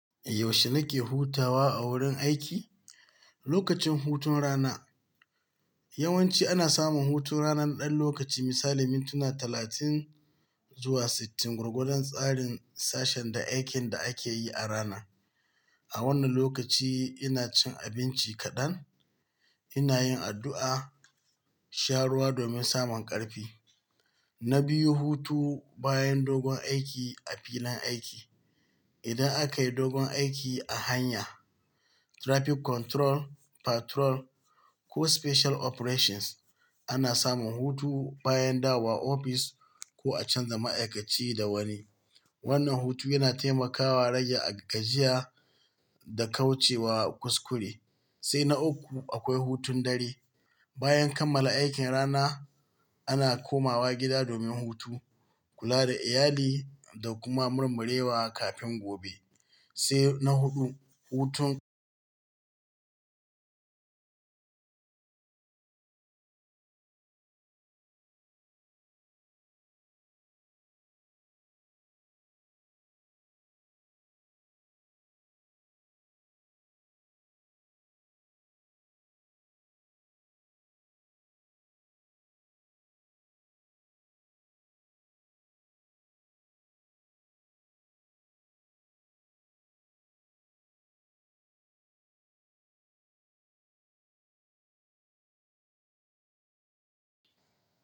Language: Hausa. Yaushe nake hutawa a wurin aiki? Lokacin hutun rana, yawanci ana samun hutun rana ɗan lokaci misali mintuna talatin zuwa sittin, gwargwadon tsarin sashen da aikin da ake yi a rana. A wannan lokaci ina cin abinci kaɗan, ina yin addu'a, sha ruwa domin samun ƙarfi. Na biyu, hutu bayan dogon aiki a filin aiki. Idan aka yi dogon aiki a hanya, traffic control, patrol ko special operations, ana samun hutu bayan dawowa ofis ko a canza ma'aikaci da wani. Wannan hutu yana taimakawa rage gajiya da kauce wa kuskure. Sai na uku, akwai hutun dare. Bayan kammala aikin rana, ana komawa gida domin hutu, kula da iyali da kuma murmurewa kafin gobe. Sai na huɗu, hutun.